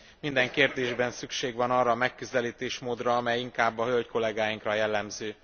Minden kérdésben szükség van arra a megközelítésmódra, amely inkább a hölgykollégáinkra jellemző.